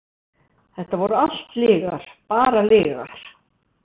Þetta voru allt lygar, bara lygar.